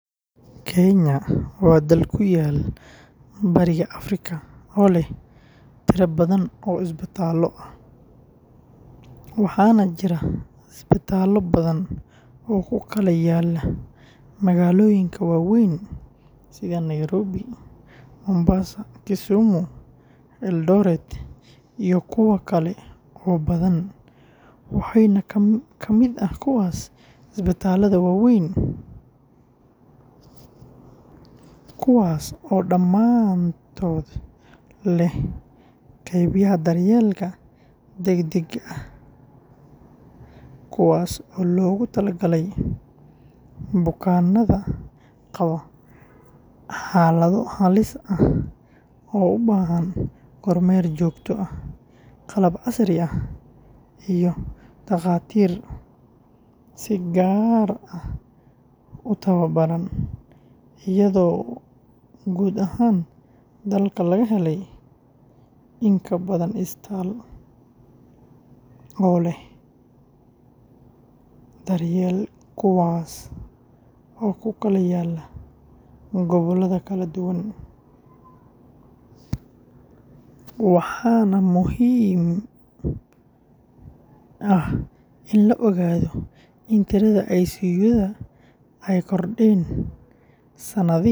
Kenya waa dal ku yaal Bariga Afrika oo leh tiro badan oo isbitaallo ah, waxaana jira isbitaallo badan oo ku kala yaalla magaalooyinka waaweyn sida Nairobi, Mombasa, Kisumu, Eldoret, iyo kuwa kale oo badan, waxaana ka mid ah kuwaas isbitaallada waaweyn kuwaas oo dhammaantood leh qeybaha daryeelka degdegga ah ee loo yaqaan, kuwaas oo loogu talagalay bukaanada qaba xaalado halis ah oo u baahan kormeer joogto ah, qalab casri ah, iyo takhaatiir si gaar ah u tababaran, iyadoo guud ahaan dalka laga helayo in ka badan isbitaal oo leh, kuwaas oo ku kala yaalla gobollada kala duwan, waxaana muhiim ah in la ogaado in tirada ICU-yada ay kordheen sanadihii ugu dambeeyay.